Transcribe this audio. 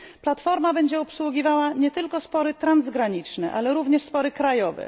Platforma będzie obsługiwała nie tylko spory transgraniczne, ale również spory krajowe.